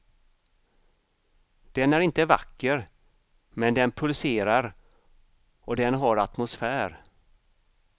Den är inte vacker, men den pulserar och den har atmosfär.